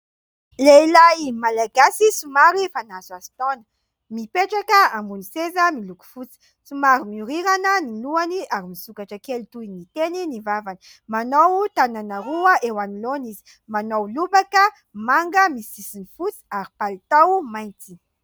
lehilahy malagasy sy mary fanaso aso taona mipetraka ambony seza miloko fosy tsy maro miorirana ny nohany ary misokatra kely toy ny teny ny vavany manao tanana roa eo anoloana izy manao lobaka manga misisiny fosy ary palitao maintsy